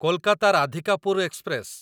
Kolkata Radhikapur express